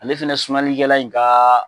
Ale fɛnɛ sumalikɛla in ka